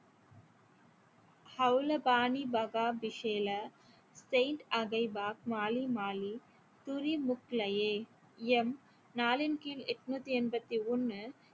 நாளின் கீழ் எட்நூத்தி எண்பத்தி ஒன்னு